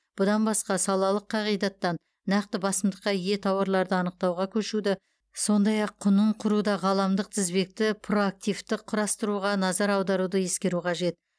бұдан басқа салалық қағидаттан нақты басымдыққа ие тауарларды анықтауға көшуді сондай ақ құнын құруда ғаламдық тізбекті проактивті құрастыруға назар аударуды ескеру қажет